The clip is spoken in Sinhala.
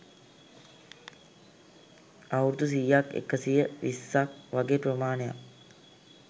අවුරුදු සියක් එකසිය විස්සක් වගේ ප්‍රමාණයක්.